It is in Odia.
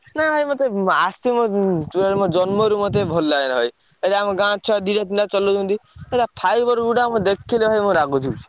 ନା ଭାଇ ମତେ total ମୋ ଜନ୍ମରୁ ମତେ ଭଲ ଲାଗେନା ଭାଇ। ଏଇଠି ଆମ ଗାଁ ଛୁଆ ଦିଟା ତିନିଟା ଚଲଉଛନ୍ତି। ପୁରା fiber ଗୁଡା ମୁଁ ଦେଖିଲେ ଭାଇ ମୋ ରାଗ ଛିଡ଼ୁଛି।